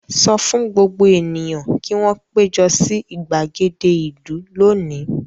Sọ fún gbogbo ènìyàn kí wọn péjọ sí ìgbàgede ìlú lónìí!